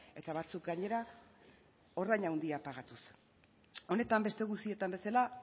eta batzuk gainera ordaina handiak pagatuz honetan beste guztietan bezala